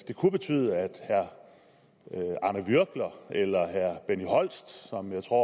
det kunne betyde at herre arne würgler eller herre benny holst som jeg tror